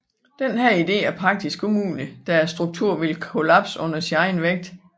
Denne idé er praktisk umulig da strukturen ville kollapse under sin egen vægt